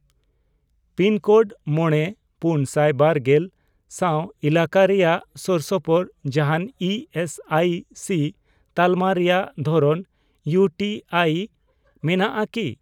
Pin code ᱢᱚᱬᱮ, ᱯᱩᱱᱥᱟᱭ ᱵᱟᱨᱜᱮᱞ ᱥᱟᱶ ᱮᱞᱟᱠᱟ ᱨᱮᱭᱟᱜ ᱥᱳᱨᱥᱳᱯᱳᱨ ᱡᱟᱦᱟᱱ ᱤ ᱮᱥ ᱟᱭ ᱥᱤ ᱛᱟᱞᱢᱟ ᱨᱮᱭᱟᱜ ᱫᱷᱚᱨᱚᱱ ᱤᱭᱩ ᱴᱤ ᱟᱭ ᱢᱮᱱᱟᱜᱼᱟ ᱠᱤ ?